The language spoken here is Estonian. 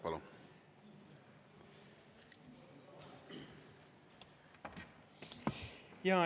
Palun!